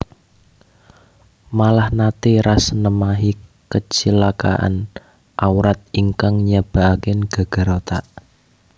Malah naté Ras nemahi kacilakan awrat ingkang nyababaken gegar otak